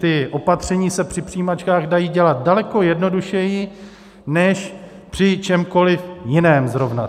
Ta opatření se při přijímačkách dají dělat daleko jednodušeji než při čemkoli jiném zrovna.